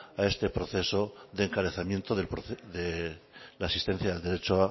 a este proceso de encarecimiento de la asistencia del derecho